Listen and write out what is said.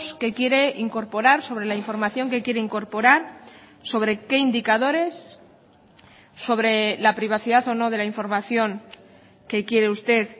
que quiere incorporar sobre la información que quiere incorporar sobre qué indicadores sobre la privacidad o no de la información que quiere usted